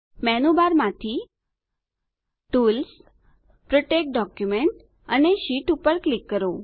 મેનુબારમાંથી tools protect document અને sheet પર click કરો